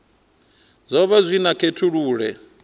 zwo vha zwi na khethululoe